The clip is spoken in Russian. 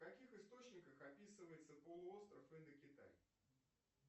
в каких источниках описывается полуостров индокитай